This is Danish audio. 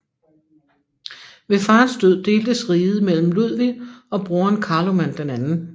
Ved faderens død deltes riget mellem Ludvig og broderen Karloman 2